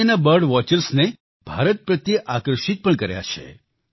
દુનિયાના bird watchers ને ભારત પ્રત્યે આકર્ષિત પણ કર્યા છે